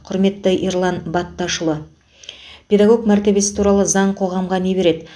құрметті ерлан бәтташұлы педагог мәртебесі туралы заң қоғамға не береді